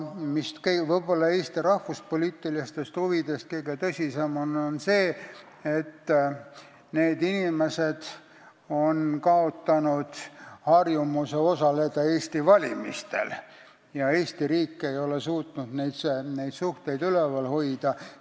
Eesti rahvuspoliitilistest huvidest lähtuvalt on võib-olla kõige tõsisem mure see, et need inimesed on kaotanud harjumuse osaleda Eesti valimistel – Eesti riik ei ole suutnud suhteid üleval hoida.